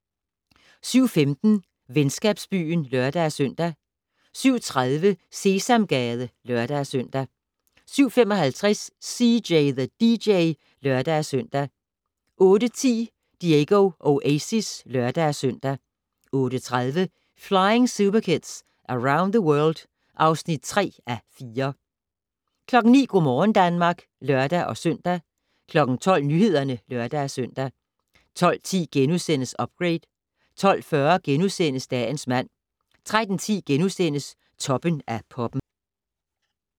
07:15: Venskabsbyen (lør-søn) 07:30: Sesamgade (lør-søn) 07:55: CJ the DJ (lør-søn) 08:10: Diego Oasis (lør-søn) 08:30: Flying Superkids Around the World (3:4) 09:00: Go' morgen Danmark (lør-søn) 12:00: Nyhederne (lør-søn) 12:10: Upgrade * 12:40: Dagens mand * 13:10: Toppen af poppen *